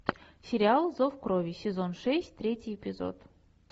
сериал зов крови сезон шесть третий эпизод